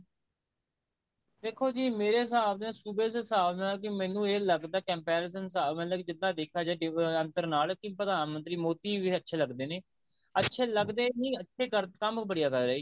ਦੇਖੋ ਜੀ ਮੇਰੇ ਹਿਸਾਬ ਦੇ ਸੂਬੇ ਦੇ ਹਿਸਾਬ ਨਾਲ ਮੈਨੂੰ ਇਹ ਲੱਗਦਾ comparison ਦੇ ਹਿਸਾਬ ਨਾਲ ਜਿੱਦਾਂ ਦੇਖਿਆ ਜਾਵੇ ਅੰਤਰ ਨਾਲ ਕਿ ਪ੍ਰਧਾਨ ਮੰਤਰੀ ਮੋਦੀ ਵੀ ਅੱਛੇ ਲੱਗਦੇ ਨੇ ਅੱਛੇ ਲੱਗਦੇ ਨੇ ਕੰਮ ਬੜੀਆਂ ਕਰ ਰਹੇ ਨੇ